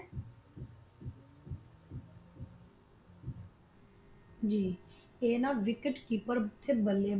ਜੀ ਇਹ ਨਾਲ Wicket Keeper ਤੇ ਬੱਲੇ ਬਾਜ